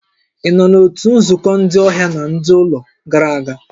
Ị nọ na nzukọ ndị ọhịa na ndị ụlọ gara aga?